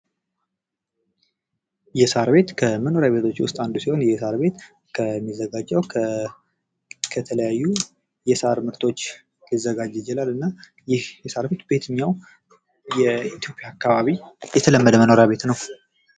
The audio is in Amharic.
የሳር ቤት ከመኖሪያ ቤቶች ውስጥ አንዱ ሲሆን የሳር ቤት የሚዘጋጀው ከተለያዩ የሳር ምርቶች ሊዘጋጅ ይችላል። እና ይህ የሳር ቤት በየትኛው የኢትዮጵያ አካባቢ የተለመደ መኖሪያ ቤት ነው?